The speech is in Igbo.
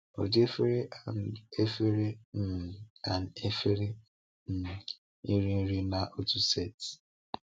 Ụdị efere & efere um & efere um iri nri n’otu setị.